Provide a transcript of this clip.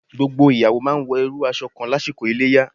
Gbogbo ìyàwó máa wọ irú aṣọ kan lásìkò Iléyá.